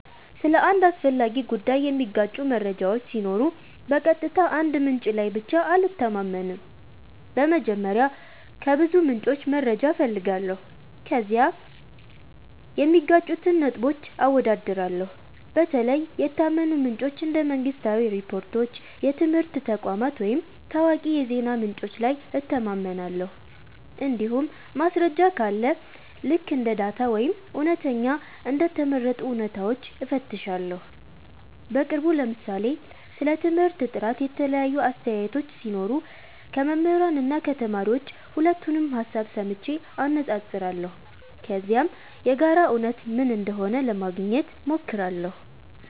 ስለ አንድ አስፈላጊ ጉዳይ የሚጋጩ መረጃዎች ሲኖሩ በቀጥታ አንድ ምንጭ ላይ ብቻ አልተማመንም። በመጀመሪያ ከብዙ ምንጮች መረጃ እፈልጋለሁ፣ ከዚያም የሚጋጩትን ነጥቦች አወዳድራለሁ። በተለይ የታመኑ ምንጮች እንደ መንግሥታዊ ሪፖርቶች፣ የትምህርት ተቋማት ወይም ታዋቂ የዜና ምንጮች ላይ እተማመናለሁ። እንዲሁም ማስረጃ ካለ ልክ እንደ ዳታ ወይም እውነተኛ እንደ ተመረጡ እውነታዎች እፈትሻለሁ። በቅርቡ ለምሳሌ ስለ ትምህርት ጥራት የተለያዩ አስተያየቶች ሲኖሩ ከመምህራን እና ከተማሪዎች ሁለቱንም ሀሳብ ሰምቼ አነፃፅራለሁ። ከዚያም የጋራ እውነት ምን እንደሆነ ለማግኘት ሞክራለሁ።